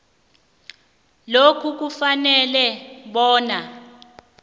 lokhu kufanele bona